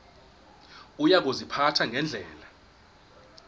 uya kuziphatha ngendlela